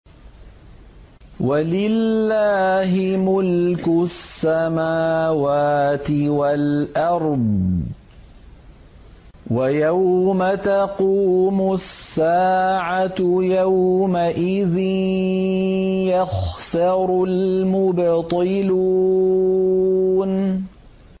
وَلِلَّهِ مُلْكُ السَّمَاوَاتِ وَالْأَرْضِ ۚ وَيَوْمَ تَقُومُ السَّاعَةُ يَوْمَئِذٍ يَخْسَرُ الْمُبْطِلُونَ